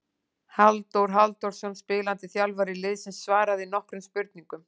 Halldór Halldórsson spilandi þjálfari liðsins svaraði nokkrum spurningum.